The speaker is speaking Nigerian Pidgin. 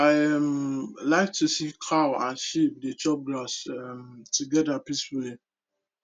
i um like to see cow and sheep dey chop grass um together peacefully